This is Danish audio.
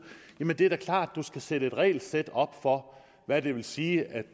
jamen det er da klart du skal sætte et regelsæt op for hvad det vil sige at